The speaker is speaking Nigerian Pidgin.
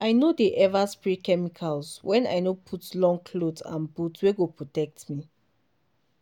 i no dey ever spray chemicals when i no put long cloth and boot wey go protect me.